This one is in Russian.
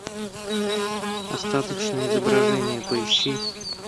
остаточное изображение поищи